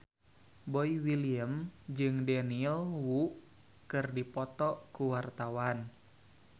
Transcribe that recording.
Boy William jeung Daniel Wu keur dipoto ku wartawan